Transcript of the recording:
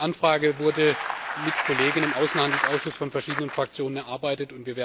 Die Anfrage wurde mit Kollegen im Außenhandelsausschuss von verschiedenen Fraktionen erarbeitet.